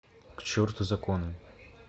к черту законы